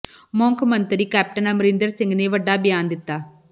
ਮੁੱਖ ਮੰਤਰੀ ਕੈਪਟਨ ਅਮਰਿੰਦਰ ਸਿੰਘ ਨੇ ਵੱਡਾ ਬਿਆਨ ਦਿੱਤਾ